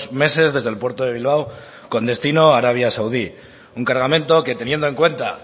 meses desde el puerto de bilbao con destino a arabia saudí un cargamento que teniendo en cuenta